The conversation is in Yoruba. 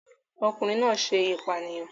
Ọkùnrin náà ṣe ìpànìyàn